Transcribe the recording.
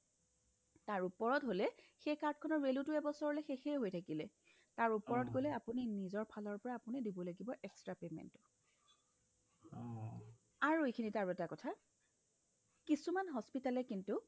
তাৰ ওপৰত হ'লে সেই card খনৰ value টো এবছৰলৈ শেষয়ে হৈ থাকিলে তাৰ ওপৰত গ'লে আপুনি নিজৰ ফালৰ পৰা আপুনি দিবলাগিব extra payment টো আৰু এইখিনিতে আৰু এটা কথা কিছুমান hospital য়ে কিন্তু